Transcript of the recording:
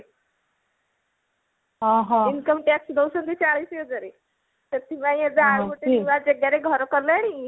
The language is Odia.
income tax ଦଉଛନ୍ତି ଚାଳିଶ ହଜାରେ ସେଥିପାଇଁ ଏବେ ଆଉ ଗୋଟେ ନୂଆ ଜେଗାରେ ଘର କଲେଣି